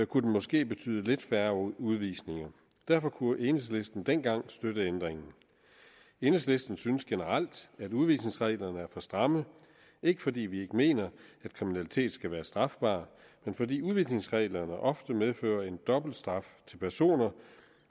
kunne den måske betyde lidt færre udvisninger derfor kunne enhedslisten dengang støtte ændringen enhedslisten synes generelt at udvisningsreglerne er for stramme ikke fordi vi ikke mener at kriminalitet skal være strafbart men fordi udvisningsreglerne ofte medfører en dobbeltstraf til personer